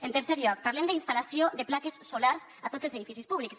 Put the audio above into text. en tercer lloc parlem d’instal·lació de plaques solars a tots els edificis públics